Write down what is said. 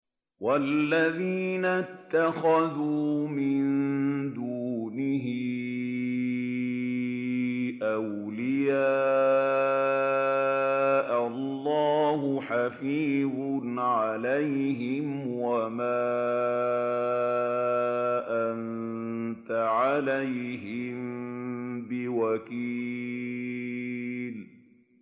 وَالَّذِينَ اتَّخَذُوا مِن دُونِهِ أَوْلِيَاءَ اللَّهُ حَفِيظٌ عَلَيْهِمْ وَمَا أَنتَ عَلَيْهِم بِوَكِيلٍ